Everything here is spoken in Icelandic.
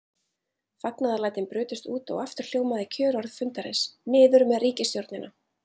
Fagnaðarlætin brutust út og aftur hljómaði kjörorð fundarins: Niður með ríkisstjórnina!